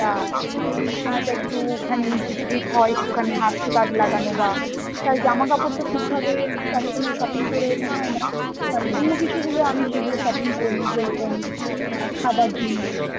বা এই সময়টা একটু খানি ভিড়টির হয় ওখানে হাত টাত লাগানো বা, তাই জামা কাপড় তা ঠিকভাবে সব সময় shopping করে ওঠা হয় না, মানে অন্য কিছু গুলো আমি সেগুলো shopping করি যেরকম আ খাবার জিনিস